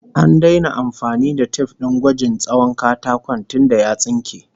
An daina amfani da tif din gwajin tsawon katakon tunda ya tsunke